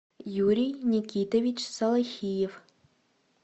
юрий никитович салахиев